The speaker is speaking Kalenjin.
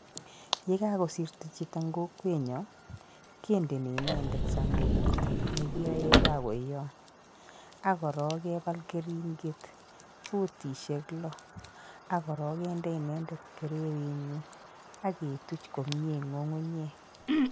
Ye kagosirto chito eng kokwenyo kendeni inendet sandukut ne kiyae baoyot, ak korook kepaal keringet, futishek lo, ak korook kende inendet kereritnyi ak ketuch komie eng ng'ung'unyeek.